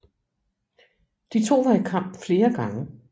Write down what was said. De to var i kamp flere gange